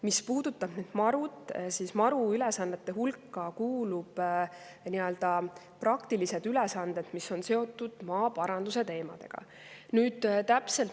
Mis puudutab MaRu‑t, siis MaRu ülesannete hulka kuuluvad praktilised ülesanded, mis on seotud maaparandusteemadega.